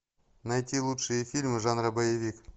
найти лучшие фильмы жанра боевик